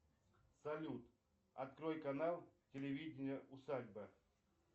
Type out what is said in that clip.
салют открой канал телевидение усадьба